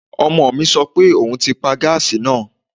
Ọmọ mi sọ pé òun ti pa gáàsì náà